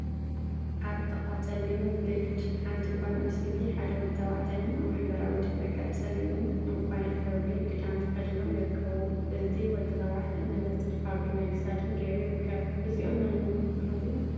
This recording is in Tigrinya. አብ ጥቃ ፀሊም ግሪድ ሓንቲ ጓል አንስተይቲን ሓደ ወዲ ተባዕታይን አብ ሕብራዊ ድሕረ ገፅ ፀሊምን ዕንቋን ሕብሪ ክዳን ተከዲኖም ይርከቡ፡፡ እቲ ወዲተባዕታይ መነፀርን ሃብል ናይ ክሳድን ገይሩ ይርከብ፡፡ እዚኦም መነመን ይበሃሉ?